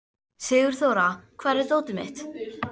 Sigurþóra, hvar er dótið mitt?